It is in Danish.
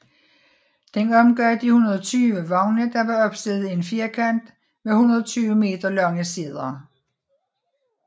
Den omgav de 120 vogne der var opstillet i en firkant med 120 meter lange sider